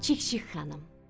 Çik-çik xanım.